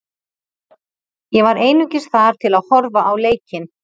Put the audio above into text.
Ég var einungis þar til að horfa á leikinn.